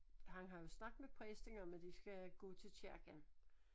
Han har jo snakket med præsten om at de skal gå til kirken